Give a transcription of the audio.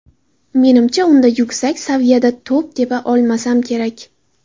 Menimcha, unda yuksak saviyada to‘p tepa olmasam kerak.